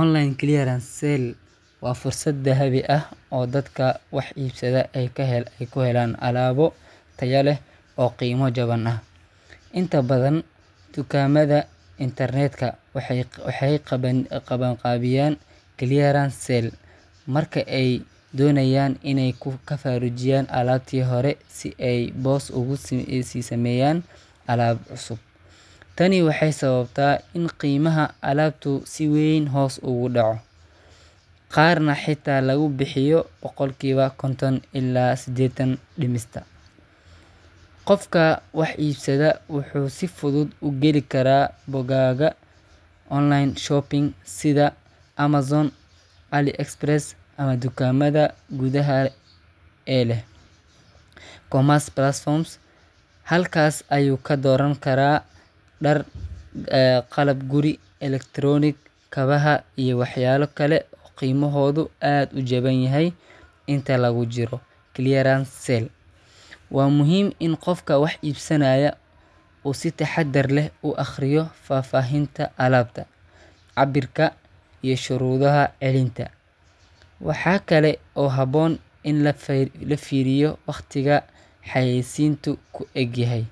Online Clearance Sale waa fursad dahabi ah oo dadka wax iibsada ay ku helaan alaabo tayo leh oo qiimo jaban ah. Inta badan dukaamada internetka waxay qabanqaabiyaan clearance sale marka ay doonayaan inay ka faarujiyaan alaabtii hore si ay boos ugu sii sameeyaan alaab cusub. Tani waxay sababtaa in qiimaha alaabtu si weyn hoos ugu dhaco, qaarna xitaa lagu bixiyo boqolkiiba konton ilaa seddetan dhimista. Qofka wax iibsada wuxuu si fudud u geli karaa bogagga online shopping sida Amazon, AliExpress, ama dukaamada gudaha ee leh e-commerce platforms. Halkaas ayuu ka dooran karaa dhar, qalab guri, elektaroonig, kabaha, iyo waxyaabo kale oo qiimahoodu aad u jabanyahay inta lagu jiro clearance sale. Waa muhiim in qofka wax iibsanaya uu si taxadar leh u akhriyo faahfaahinta alaabta, cabbirka, iyo shuruudaha celinta. Waxa kale oo habboon in la fiiriyo wakhtiga xayeysiintu ku egyahay,